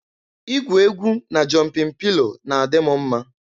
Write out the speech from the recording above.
Igwu egwu na jọmpịn pilo na-adị m mma.